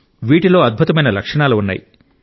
వీటిలో అద్భుతమైన లక్షణాలు ఉన్నాయి